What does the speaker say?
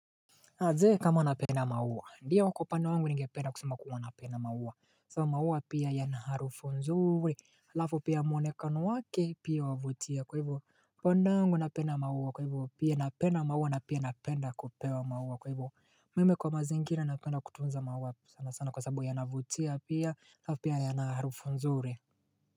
Ajee kama napenda maua ndio kwa upande wangu ningependa kusema kuwa napenda maua sabu maua pia yana harufu nzuri Lafu pia muonekano wake pia wavutia kwa hivyo Pandeangu napenda maua kwa hivo pia napenda maua na pia napenda kupewa maua kwa hivo Mime kwa mazingina napenda kutunza maua sana sana kwa sababu ya navutia pia lafu pia ya na harufu nzuri.